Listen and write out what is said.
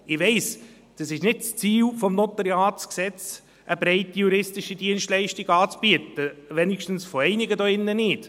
Ich weiss, es ist nicht das Ziel des NG, eine breite juristische Dienstleistung anzubieten – wenigstens von einigen hier drin nicht.